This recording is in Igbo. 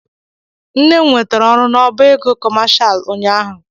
Nne m nwetara ọrụ n'ọbá ego kọmashal ụnyaahụ.